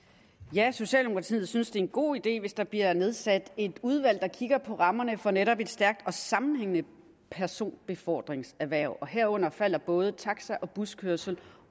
ja socialdemokratiet synes det er en god idé hvis der bliver nedsat et udvalg der kigger på rammerne for netop et stærkt og sammenhængende personbefordringserhverv herunder falder både taxa og buskørsel